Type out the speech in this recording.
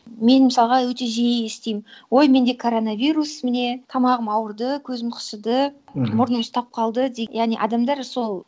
мен мысалға өте жиі естимін ой менде коронавирус міне тамағым ауырды көзім қышыды аха мұрным ұстап қалды дейді яғни адамдар сол